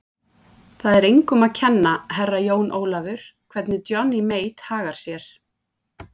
Það er engum að kenna, Herra Jón Ólafur, hvernig Johnny Mate hagar sér.